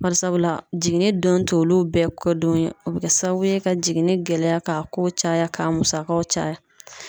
Barisabula jiginni don t'olu bɛɛ kɛ don ye o bɛ kɛ sababu ye ka jiginni gɛlɛya k'a ko caya k'a musakaw caya.